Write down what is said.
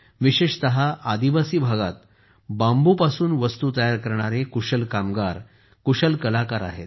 विशेषत आदिवासी भागात कुशल बांबूपासून वस्तू तयार करणारे कुशल कामगार कुशल कलाकार आहेत